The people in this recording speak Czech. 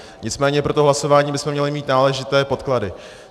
Nicméně pro to hlasování bychom měli mít náležité podklady.